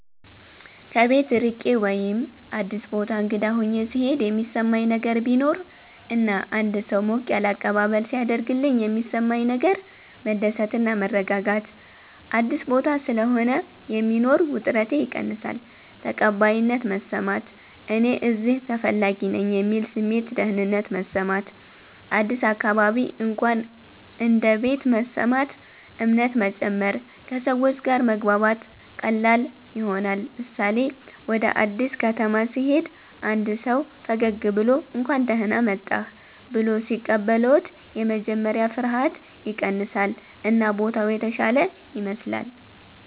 ከቤት ርቄ ወይም አዲስ ቦታ እንግዳ ሆኘ ሥሄድ የሚሠማኝ ነገር ቢኖር እና አንድ ሰው ሞቅ ያለ አቀባበል ሢያደርግልኝ የሚሠማኝ ነገር መደሰት እና መረጋጋት – አዲስ ቦታ ስለሆነ የሚኖር ውጥረቴ ይቀንሳል ተቀባይነት መሰማት – “እኔ እዚህ ተፈላጊ ነኝ” የሚል ስሜት ደህንነት መሰማት – አዲስ አካባቢ እንኳን እንደ ቤት መሰማት እምነት መጨመር – ከሰዎች ጋር መግባባት ቀላል ይሆናል ምሳሌ፦ ወደ አዲስ ከተማ ሲሄዱ አንድ ሰው ፈገግ ብሎ “እንኳን ደህና መጣህ” ብሎ ሲቀበልዎት የመጀመሪያ ፍርሃት ይቀንሳል እና ቦታው የተሻለ ይመስላል።